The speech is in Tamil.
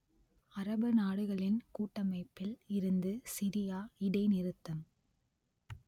அரபு நாடுகளின் கூட்டமைப்பில் இருந்து சிரியா இடைநிறுத்தம்